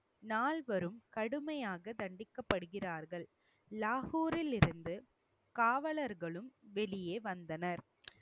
நால்வரும் கடுமையாக தண்டிக்கப்படுகிறார்கள். லாகூரில் இருந்து காவலர்களும் வெளியே வந்தனர்